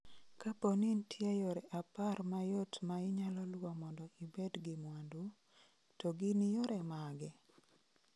Kapo ni nitie yore apar mayot ma inyalo luwo mondo ibed gi mwandu, to gin yore mage?